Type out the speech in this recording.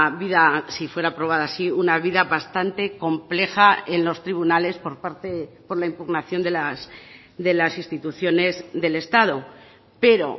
vida si fuera aprobada así una vida bastante compleja en los tribunales por parte por la impugnación de las instituciones del estado pero